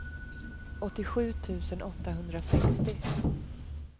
åttiosju tusen åttahundrasextio